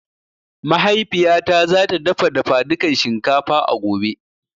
Mahaifiya ta za ta dafa dafadukan shinkafa a gobe